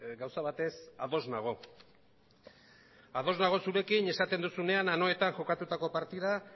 gauza batez ados nago ados nago zurekin esaten duzunean anoetan jokatutako partida